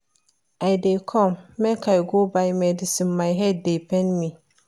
I dey come make I go buy medicine my head dey pain me